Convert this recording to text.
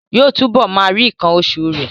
Yóò túbọ̀ máa rí nǹkan oṣù rẹ̀